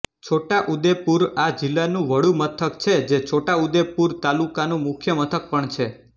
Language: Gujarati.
છોટાઉદેપુર આ જિલ્લાનું વડુ મથક છે જે છોટાઉદેપુર તાલુકાનું મુખ્ય મથક પણ છે